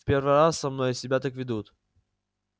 в первый раз со мной себя так ведут